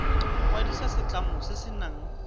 kwadisa setlamo se se nang